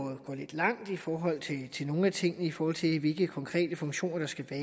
lidt langt i forhold til nogle af tingene i forhold til hvilke konkrete funktioner der skal